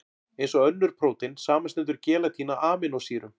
Eins og önnur prótein, samanstendur gelatín af amínósýrum.